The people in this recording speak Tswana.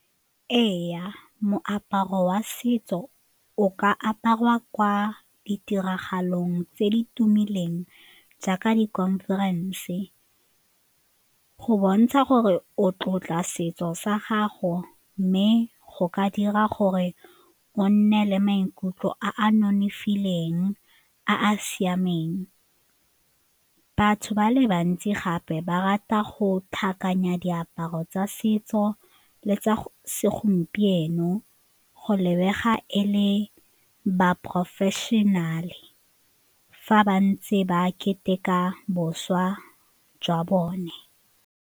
Ee, moaparo wa setso o ka aparwa kwa ditiragalong tse di tumileng jaaka di-conference go bontsha gore o tlotla setso sa gago mme go ka dira gore o nne le maikutlo a a nonofileng a a siameng. Batho ba le bantsi gape ba rata go tlhakanya diaparo tsa setso le tsa segompieno go lebega e le baporofešenale fa ba ntse ba keteka bošwa jwa bone.